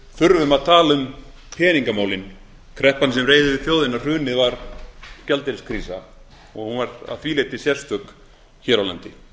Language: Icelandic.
þurfum að tala um peningamálin kreppan sem reið yfir þjóðina hrunið var gjaldeyriskrísa og hún var að því leyti sérstök hér á landi